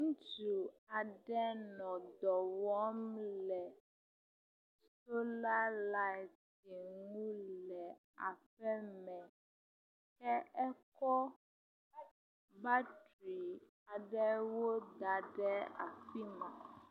Ŋutsu aɖe nɔ dɔ wɔm le sola lati ŋu le aƒeme ke ekɔ batri aɖewo da ɖe afi ma.